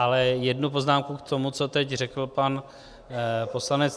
Ale jednu poznámku k tomu, co teď řekl pan poslanec